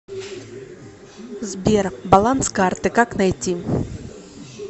сбер баланс карты как найти